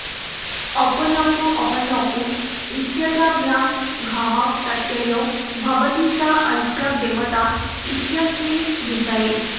अपोनप्तृ अपांनप्तृ इत्येताभ्यां घः प्रत्ययो भवति सा ऽस्य देवता इत्यस्मिन् विषये